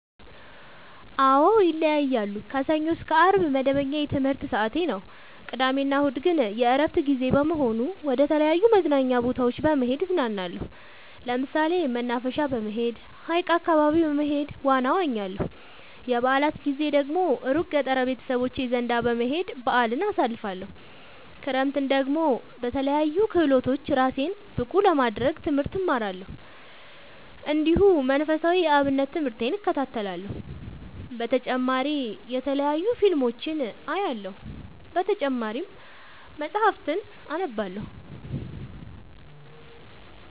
አዎ ይለያያለሉ። ከሰኞ እስከ አርብ መደበኛ የትምህርት ሰዓቴ ነው። ቅዳሜ እና እሁድ ግን የእረፍት ጊዜ በመሆኑ መደተለያዩ መዝናኛ ቦታዎች በመሄድ እዝናናለሁ። ለምሳሌ መናፈሻ በመሄድ። ሀይቅ አካባቢ በመሄድ ዋና እዋኛለሁ። የበአላት ጊዜ ደግሞ እሩቅ ገጠር ቤተሰቦቼ ዘንዳ በመሄድ በአልን አሳልፍለሁ። ክረምትን ደግሞ በለያዩ ክህሎቶች እራሴን ብቀሐ ለማድረግ ትምህርት እማራለሁ። እንዲሁ መንፈሳዊ የአብነት ትምህርቴን እከታተላለሁ። በተጨማሪ የተለያዩ ፊልሞችን አያለሁ። በተጨማሪም መፀሀፍትን አነባለሁ።